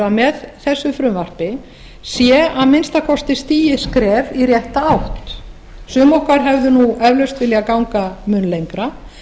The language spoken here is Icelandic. með þessu frumvarpi sé að minnsta kosti stigið skref í rétta átt sum okkar hefðu eflaust viljað ganga mun lengra